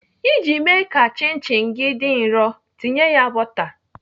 Iji mee ka chin chin gị dị nrọ, tinye ya bọta.